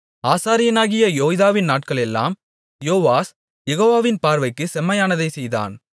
ஆசாரியனாகிய யோய்தாவின் நாட்களெல்லாம் யோவாஸ் யெகோவாவின் பார்வைக்கு செம்மையானதைச் செய்தான்